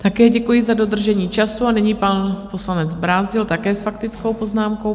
Také děkuji za dodržení času a nyní pan poslanec Brázdil, také s faktickou poznámkou.